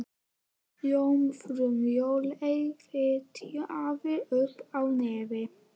Jómfrú Sóley fitjaði upp á nefið.